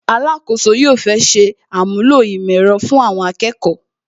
Alakoso yóò fẹ́ ṣe àmúlò ìmọ̀ ẹ̀rọ fun Awon akeko